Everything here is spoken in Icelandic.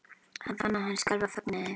Hann fann að hann skalf af fögnuði.